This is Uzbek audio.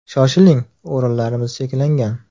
Shoshiling, o‘rinlarimiz cheklangan.